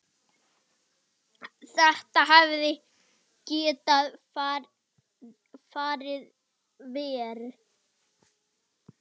Þetta hefði getað farið verr.